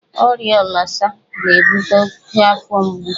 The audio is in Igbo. Ọrịa ọlsa na-ebute oke afọ mgbu.